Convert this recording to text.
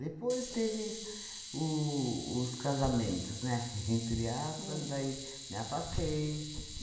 Depois teves o os casamentos, né, entre aspas, daí me afastei.